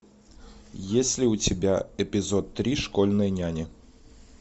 есть ли у тебя эпизод три школьные няни